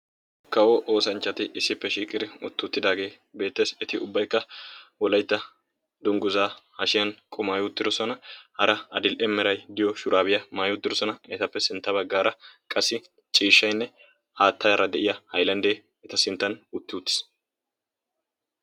kawo oosanchchati issippe shiiqiri uttiuttidaagee beettossona eti ubbaikka wolaitta dongguzaa hashiyan komaayudirosona hara adil7merai diyo shuraabiyaa maayudirosona etappe sintta baggaara qassi ciishshainne aattayaara de7iya ailanddee eta sinttan uttiuttiis